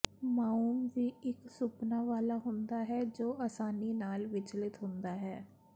mouse ਵੀ ਇਕ ਸੁਪਨਾ ਵਾਲਾ ਹੁੰਦਾ ਹੈ ਜੋ ਅਸਾਨੀ ਨਾਲ ਵਿਚਲਿਤ ਹੁੰਦਾ ਹੈ